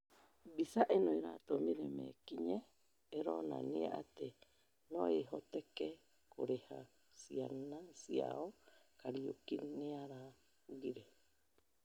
mbica ĩno "ĩratũmire mekĩnyirĩ, ĩronania atĩ noĩhoteke kũrera ciana ciao Kariuki nĩaraũgire